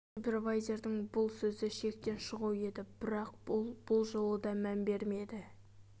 супервайзердің бұл сөзі шектен шығу еді бірақ ол бұл жолы да мән бермеді